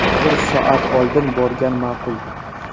Bir soat oldin borgan ma’qul.